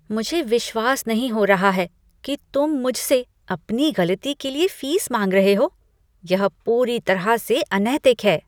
मुझे विश्वास नहीं हो रहा है कि तुम मुझसे अपनी गलती के लिए फीस माँग रहे हो। यह पूरी तरह से अनैतिक है।